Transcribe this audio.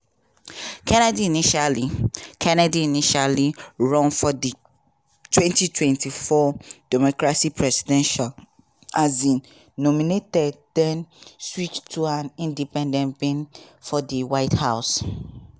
kennedy initially kennedy initially run for di 2024 democratic presidential um nomination den switch to an independent bid for di white house.